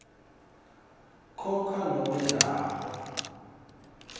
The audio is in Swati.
khona nobe lapho